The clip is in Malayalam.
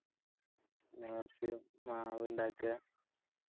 എന്നിട്ട് മാവിണ്ടക്ക